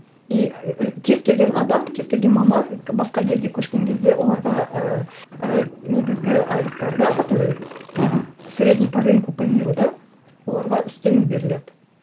и кез келген адам кез келген маман басқа елге көшкен кезде оларға ыыы ііі негізгі айлықтарына который мхм средний по рынку по миру да оларға үстеме беріледі